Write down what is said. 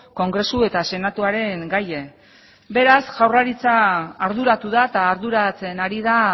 kongresu eta senatuaren gaia beraz jaurlaritza arduratu da eta arduratzen ari da